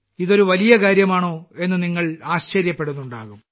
ഇതൊരു വലിയ കാര്യമാണോ എന്ന് നിങ്ങൾ ആശ്ചര്യപ്പെടുന്നുണ്ടാകും